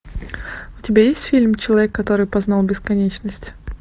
у тебя есть фильм человек который познал бесконечность